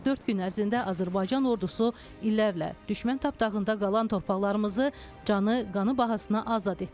44 gün ərzində Azərbaycan ordusu illərlə düşmən tapdağında qalan torpaqlarımızı canı, qanı bahasına azad etdi.